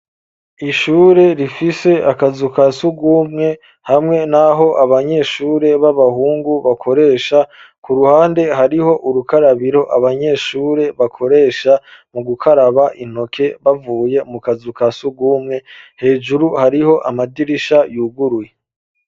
Ishure rifise akazu ka sugumwe hamwe naho abanyeshure baba hungu bakoresha ku ruhande hariho urukarabiro abanyeshure bakoresha mu gukaraba intoke bavuye mu kazu ka sugumwe hejuru hariho amadirisha yuguruye